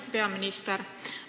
Hea peaminister!